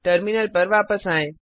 terminal पर वापस आएँ